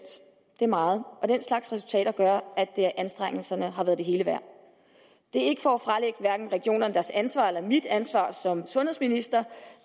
det er meget og den slags resultater gør at anstrengelserne har været det hele værd det er ikke for at fralægge hverken regionerne deres ansvar eller mig mit ansvar som sundhedsminister